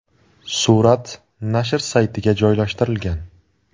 Surat nashr saytiga joylashtirilgan .